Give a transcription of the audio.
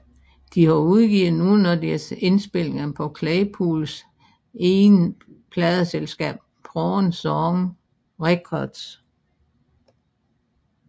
De har udgivet nogle af deres indspilninger på Claypools eget pladeselskab Prawn Song Records